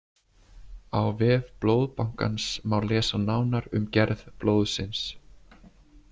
Á vef Blóðbankans má lesa nánar um gerð blóðsins.